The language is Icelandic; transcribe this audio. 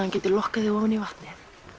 hann geti lokkað þig ofan í vatnið